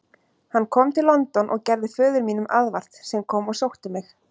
Hann kom til London og gerði föður mínum aðvart, sem kom og sótti mig.